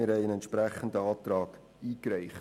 Wir haben einen entsprechenden Antrag eingereicht.